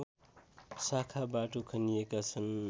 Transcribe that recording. शाखा बाटो खनिएका छन्